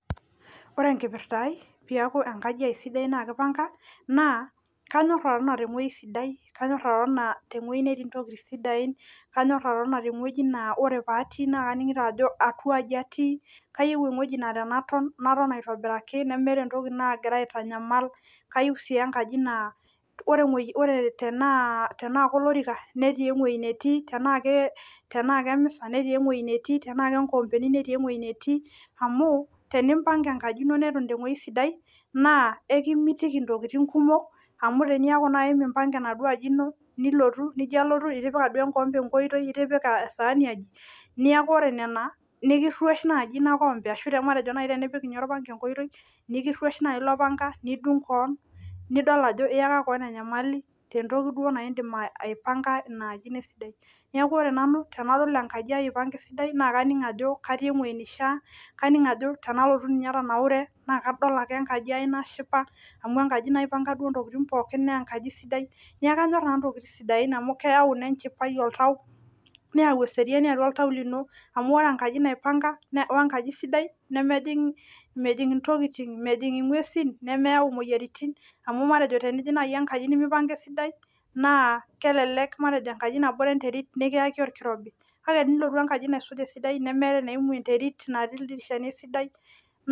Ore enkipirta aai peeku enkaji aai sidai naa keipanka kanyor atotona tewueji sidai kanyor atotona tewueji natii intokitin sidain kanyor atotona tewueji naa ore paatii naa kayiolo ajo ketii intokitin sidain kayieu ewueji naa ore paaton naton aitobiraki nemeeta entoki nagira aitanyamal kayieu sii enkaji naa tenaa kolorika netii ewueji netii tenaa kemisa netii ewueji netii amu tenimbanga enkaji neton tewueeji sidai naa ekimitiki intokitin kumok amu tenitu impanga enkaji ino lilotu nijio alotu itipika duo enkikombe enkoitoi nikiruesh nelo nipik ninye orpanga enkoitoi nikiruesh naaji ilo panga nidung kewon niyaki kewon enyamali tentoki duo naa indiim aipanga inaaji nesidanu neeku ore nanu tenadol enkaji aai eipanga esidai naa kaning ajo katio ewueji neishia kaning ajo tenalotu ninye anaune naakadol ake enkaji aai nashipa amu enkaji naipanga duo intokitin nashipa neeku kanyor nanu intokitin sidai amu keyau inchipai oltau neyau eseriani oltau lino amu ore enkaji naipanga wenkaji sidai nemejing intokitin mejing ing'uesin nemeyau imoyiaritin amu matejo tenijing naaji enkaji nemeipanga esidai naa kelelek matejo enkaji natii enterit nikiyaki orkirobi kake tenilotu enkaji naisuja esidai nemeetai eneimu enterit netii ildirishani esidai.